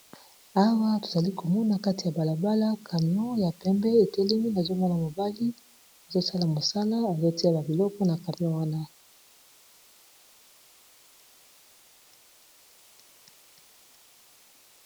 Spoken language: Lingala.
awa tozali komona kati ya balabala camion ya pembe etelemi azomona mobali azosala mosala aletiya babiloko na camion wana